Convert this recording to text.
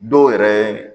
Dɔw yɛrɛ